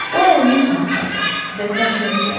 O əlini üzünə apardı və dəhşətə gəldi.